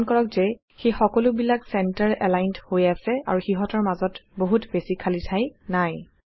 মন কৰক যে সেই সকলো বিলাক ছেন্টাৰ এলাইনড হৈ আছে আৰু সিহঁতৰ মাজত বহুত বেছি খালী ঠাই নাই